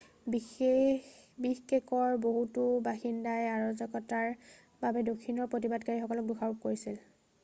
বিষকেকৰ বহুতো বাসিন্দাই অৰাজকতাৰ বাবে দক্ষিণৰ প্ৰতিবাদকাৰীসকলক দোষাৰোপ কৰিছিল